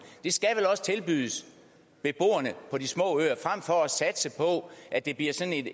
det skal vel også tilbydes beboerne på de små øer frem for at satse på at det bliver